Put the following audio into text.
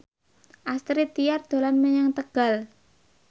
Astrid Tiar dolan menyang Tegal